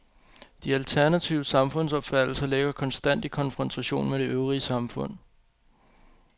De alternative samfundsopfattelser ligger konstant i konfrontation med det øvrige samfund.